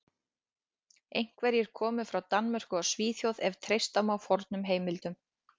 Einhverjir komu frá Danmörku og Svíþjóð ef treysta má fornum heimildum.